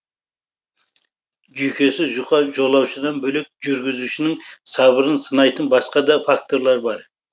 жүйкесі жұқа жолаушыдан бөлек жүргізушінің сабырын сынайтын басқа да факторлар бар